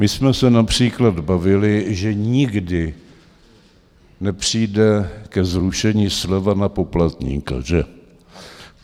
My jsme se například bavili, že nikdy nepřijde ke zrušení sleva na poplatníka, že?